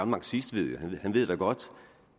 marxist han ved godt